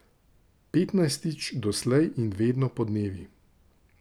Petnajstič doslej in vedno podnevi.